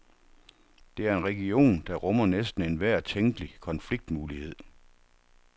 Det er en region, der rummer næsten enhver tænkelig konfliktmulighed.